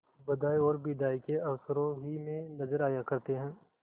बधाई और बिदाई के अवसरों ही में नजर आया करते हैं